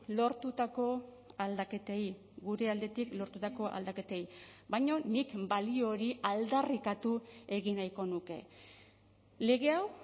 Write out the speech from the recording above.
lortutako aldaketei gure aldetik lortutako aldaketei baina nik balio hori aldarrikatu egin nahiko nuke lege hau